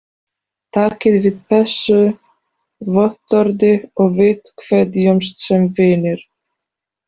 Takið við þessu vottorði og við kveðjumst sem vinir.